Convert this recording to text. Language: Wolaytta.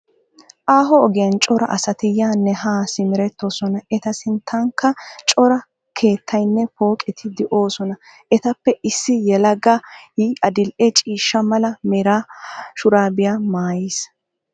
Aaho ogiyan cora asati yaanne haa simerettoosona. Eta sinttankka cora keettayinne pooqeti de'oosona. Etappe issi yelagay adil'e ciishsha mala mera shuraabiya mayis.